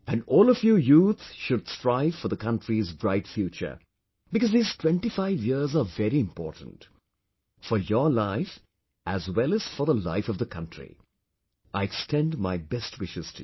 And all of you youth should strive for the country's bright future, because these 25 years are very important for your life as well as for the life of the country, I extend my best wishes to you